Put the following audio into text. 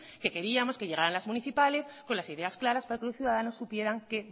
que queríamos que llegaran las municipales con las ideas claras para que los ciudadanos supieran qué